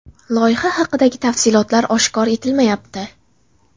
Loyiha haqidagi tafsilotlar oshkor etilmayapti.